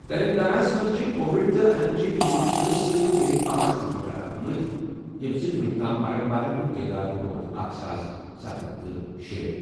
تیٚلنٛگاناہس منٛز چھِ کووڈ تہٕ اَمہِ چہِ پیچیدگِیو سۭتۍ بیٚیہِ پانٛژھ نفر ہلاک گٔمٕتۍ، ییٚمہِ سۭتۍ وُنیُک تام مرن والٮ۪ن ہُنٛد تعداد ووت اکھ ساس سَتھ ہَتھ تہٕ شے ۔